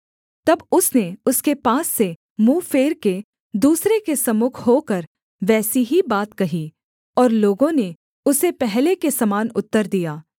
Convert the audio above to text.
तब उसने उसके पास से मुँह फेर के दूसरे के सम्मुख होकर वैसी ही बात कही और लोगों ने उसे पहले के समान उत्तर दिया